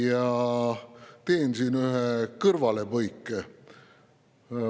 Ma teen siin ühe kõrvalepõike.